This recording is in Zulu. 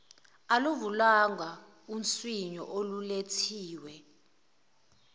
oluvulwayo unswinyo olulethiwe